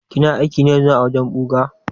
Kina aiki ne ƴanzun a wajen ɓuga?